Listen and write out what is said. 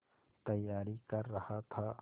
तैयारी कर रहा था